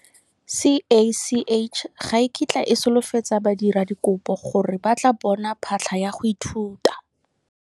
CACH ga e kitla e solofetsa badiradikopo gore ba tla bona phatlha ya go ithuta.